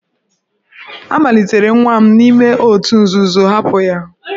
A malitere nwa m n'ime òtù nzuzo, hapụ ya!